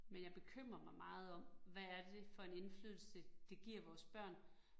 Men jeg bekymrer mig meget om, hvad er det for en indflydelse, det giver vores børn